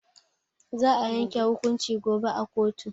Za a yanke hukunci gobe a koto.